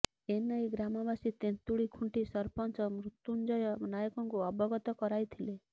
ଏନେଇ ଗ୍ରାମବାସୀ ତେନ୍ତୁଳିଖୁଣ୍ଟି ସରପଞ୍ଚ ମୃତ୍ୟୁଞ୍ଜୟ ନାୟକଙ୍କୁ ଅବଗତ କରାଇଥିଲେ